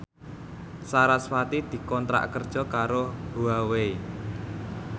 sarasvati dikontrak kerja karo Huawei